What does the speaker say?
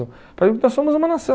Nós somos uma nação.